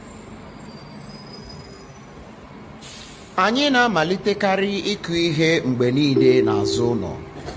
anyị na-amalite kari ịkụ ihe mgbe niile n'azụ ụlọ.